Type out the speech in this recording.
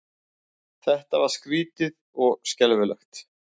Þetta var skrýtið og skelfilegt.